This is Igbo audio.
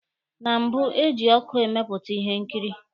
Na mbụ, eji ọkụ emepụta Ihe nkiri.